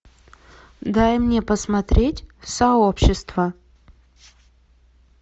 дай мне посмотреть сообщество